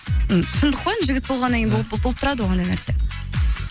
шындық қой енді жігіт болғаннан кейін болып тұрады ғой ондай нәрсе